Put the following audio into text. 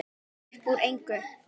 Uppúr engu?